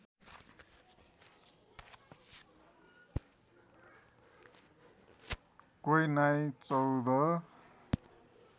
क्वै नाई चौध